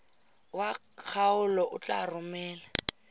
wa kgaolo o tla romela